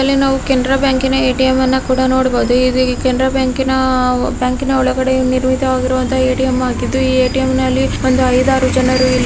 ಇಲ್ಲಿ ನಾವು ಕೆನರಾ ಬ್ಯಾಂಕಿನ ಎ ಟಿ ಎಮ್ ನ ಕೂಡ ನೋಡಬಹುದು ಇಲ್ಲಿ ಕೆನರಾ ಬ್ಯಾಂಕಿನ ಒಳಗಡೆ ನಿರ್ಮಿತವಾಗಿರುವಂತಹ ಎ.ಟಿ.ಎಮ್ ಆಗಿದ್ದು ಈ ಎ.ಟಿ.ಎಮ್ ನ್ನಲ್ಲಿ ಒಂದು ಐದಾರು ಜನರು ಇಲ್ಲಿ ಕಾಯ್ದು ನಿಂತಿದ್ದಾರೆ .